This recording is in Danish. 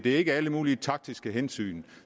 ikke alle mulige taktiske hensyn